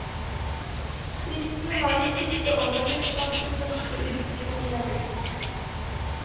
Fristen har de siste årene blitt satt til første uken i august.